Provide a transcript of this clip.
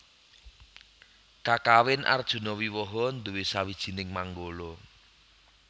Kakawin Arjunawiwaha nduwé sawijining manggala